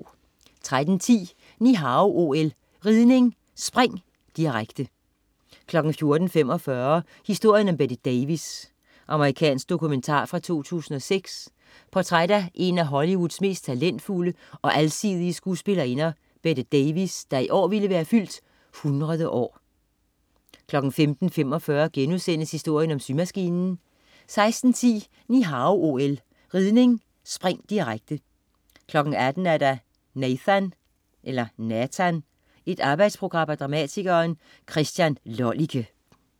13.10 Ni Hao OL: Ridning: Spring, direkte 14.45 Historien om Bette Davis. Amerikansk dokumentar fra 2006. Portræt af en af Hollywoods mest talentfulde og alsidige skuespillerinder, Bette Davis, der i år ville være fyldt 100 år 15.45 Historien om symaskinen* 16.10 Ni Hao OL: Ridning: Spring, direkte 18.00 Nathan. Et arbejdsportræt af dramatikeren Christian Lollike